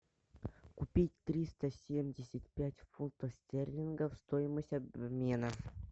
купить триста семьдесят пять фунтов стерлингов стоимость обмена